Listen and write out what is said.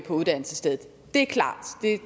uddannelsesstedet det er klart